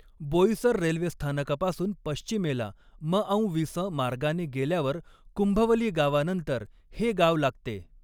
Boisar railway स्थानकापासून पश्चिमेला मऔविसं मार्गाने गेल्यावर कुंभवली गावानंतर हे गाव लागते.